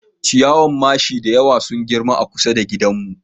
Ciyawan mashi da yawa sun girma a kusa da gidanmu